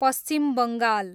Paschim Bengal